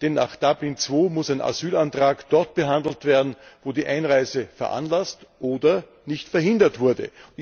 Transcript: Denn nach Dublin II muss ein Asylantrag dort behandelt werden, wo die Einreise veranlasst oder nicht verhindert wurde.